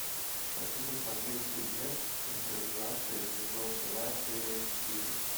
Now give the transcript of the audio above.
хочу посмотреть фильмец импровизация сезон два серия четыре